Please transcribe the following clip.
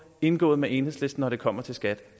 indgået med enhedslisten når det kommer til skat